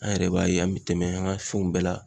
An yɛrɛ b'a ye an be tɛmɛ an ka fɛnw bɛɛ la